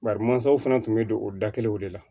Bari mansaw fana tun bɛ don o da kelen de la